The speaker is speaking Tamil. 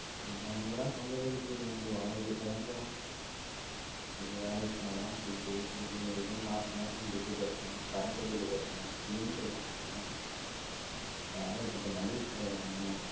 நான் எங்கடா சொந்த வீடு இக்குது எங்களுக்கு வாடக வீட்டுல தான் இக்குறோம் ஒரு வேலைக்கு போனா தான் துட்டு இது அது மாச மாசம் துட்டு கட்டனும் current bill கட்டனும் cylinder வாங்கணும் ஏகப்பட்ட மல்லிக செலவு வாங்கணும்